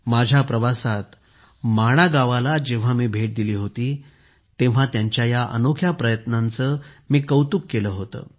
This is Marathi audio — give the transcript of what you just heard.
माझ्या प्रवासात माणा गावाला जेव्हा मी भेट दिली होती तेव्हा त्यांच्या या अनोख्या प्रयत्नाचे मी कौतुक केले होते